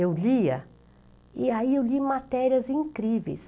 Eu lia, e aí eu li matérias incríveis.